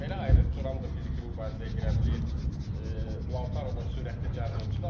Belə ayrı juram da fiziki mübarizəyə girə bilir, Lautaro da sürətli cəld oyunçudur.